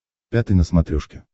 пятый на смотрешке